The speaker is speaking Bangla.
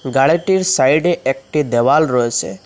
গাড়িটির সাইডে একটি দেওয়াল রয়েসে ।